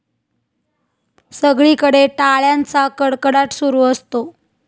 सगळीकडे टाळ्यांचा कडकडाट सुरू असतो.